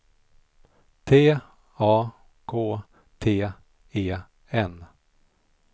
T A K T E N